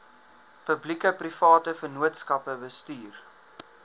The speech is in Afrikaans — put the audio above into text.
publiekeprivate vennootskappe bestuur